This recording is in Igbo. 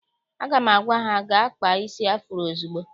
Aga m agwa ha gaa kpaa isi afuro ozugbo!